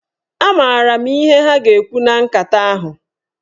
A maara m ihe ha ga-ekwu na nkata ahụ.